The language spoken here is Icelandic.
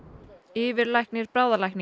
yfirlæknir